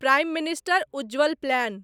prime minister Ujjwal plan